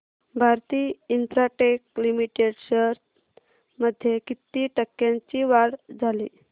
Bharti Infratel limited shares मध्ये किती टक्क्यांची वाढ झाली